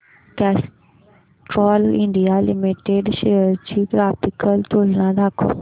Castrol India limited shares ची graphical तुलना दाखव